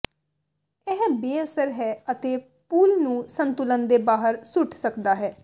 ਇਹ ਬੇਅਸਰ ਹੈ ਅਤੇ ਪੂਲ ਨੂੰ ਸੰਤੁਲਨ ਦੇ ਬਾਹਰ ਸੁੱਟ ਸਕਦਾ ਹੈ